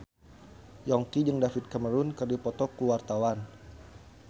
Yongki jeung David Cameron keur dipoto ku wartawan